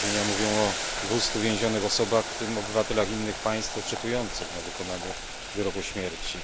Doniesienia mówią o 200 więzionych osobach, w tym obywatelach innych państw oczekujących na wykonanie wyroku śmierci.